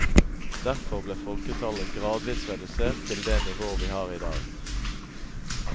Derfor ble folketallet gradvis redusert til det nivå vi har i dag.